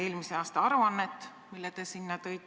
" Eelarves on laste ja perede programmile ette nähtud 795 000 eurot.